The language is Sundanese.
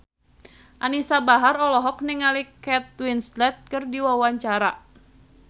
Anisa Bahar olohok ningali Kate Winslet keur diwawancara